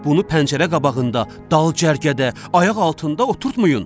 Bunu pəncərə qabağında, dal cərgədə, ayaq altında oturtmayın.